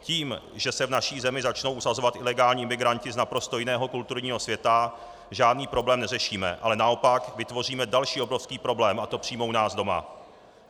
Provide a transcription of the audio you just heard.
Tím, že se v naší zemi začnou usazovat ilegální imigranti z naprosto jiného kulturního světa, žádný problém neřešíme, ale naopak vytvoříme další obrovský problém, a to přímo u nás doma.